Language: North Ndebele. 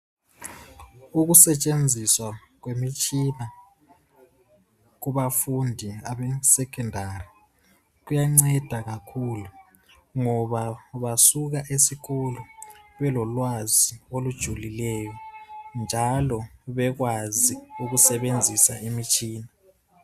Ukusetshenziswa kwemitshina. kubafundi abesecondary, kuyanceda kakhulu. Ngoba basuka esikolo, belolwazi olujulileyo. Njalo bekwazi ukusebenzisa imitshina.